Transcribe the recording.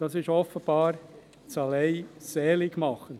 Das ist offenbar das Allein-Seligmachende.